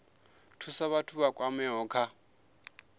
thusa vhathu vha kwameaho kha